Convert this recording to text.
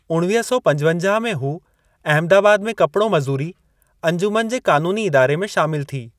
उणवीह सौ पंजवंजाह में हूअ अहमदाबाद में कपड़ो मज़ूरी अंजुमन जे क़ानूनी इदारे में शामिलु थी।